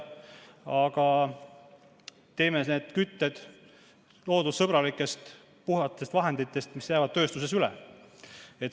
Aga teeme need kütused loodussõbralikest, puhastest vahenditest, mis jäävad tööstuses üle.